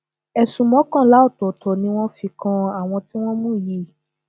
ẹsùn mọkànlá ọtọọtọ ni wọn fi kan àwọn tí wọn mú yìí